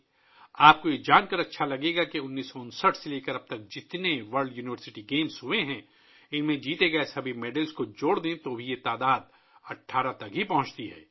آپ کو یہ جان کر خوشی ہوگی کہ اگر ہم 1959 سے اب تک منعقد ہونے والے تمام ورلڈ یونیورسٹی گیمز میں جیتنے والے تمام میڈلز کو بھی شامل کر لیں تو یہ تعداد صرف 18 تک پہنچتی ہے